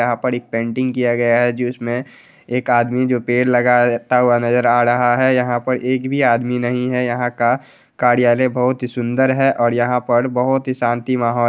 यहाँ पर एक पेंटिंग किया गया है जिसमें. एक आदमी जो पेड़ लगाए हुए नजर आ रहा है| यहाँ पर एक भी आदमी नहीं है| यहाँ का कार्यालय बहुत ही सुंदर है और यहाँ पर बहुत ही शांति माहौल--